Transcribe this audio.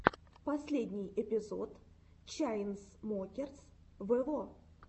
последний эпизод чайнсмокерс вево